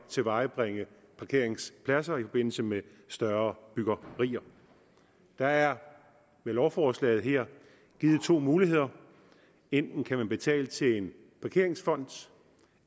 at tilvejebringe parkeringspladser i forbindelse med større byggerier der er med lovforslaget her givet to muligheder enten kan man betale til en parkeringsfond